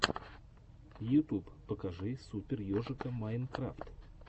ютуб покажи супер ежика майнкрафт